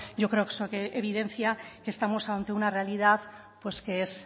yo creo que eso evidencia que estamos ante una realidad que es